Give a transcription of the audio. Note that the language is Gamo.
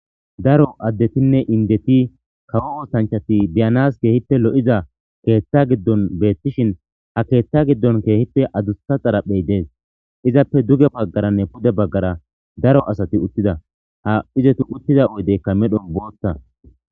Daro addetinne indeti kawo ootanchati biyanas keehipte lo'iza keeththa giddon beettishin ha keeththa giddon keehippe adusta xaraphey dees izappe duge baggaranne pude baggara daro asati uttida ha izetu uttiza oydeykka medhon boothta.